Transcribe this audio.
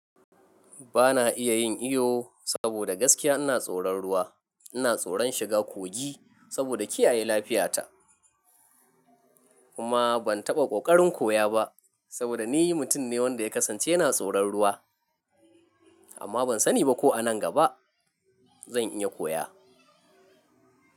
Ba na iya yin iyo saboda gaskiya ina tsoron ruwa. Ina tsoron shiga kogi saboda kiyaye lafiyata, kuma ban taɓa ƙoƙarin koya ba saboda ni mutum ne wanda ya kasance yana tsoron ruwa, amma ban sani ba ko a nan gaba zan iya koya.